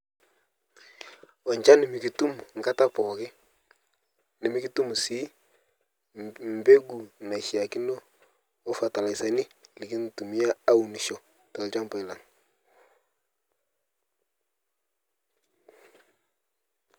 Ochan mikitum nkata pooki nimikitum si lmbegu nashiakino opatalaisani nikintumia aunisho telshambai lang.